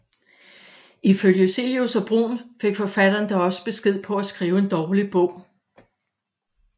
Ifølge Cillius og Bruun fik forfatteren dog også besked på at skrive en dårlig bog